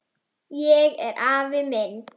Ég er afi minn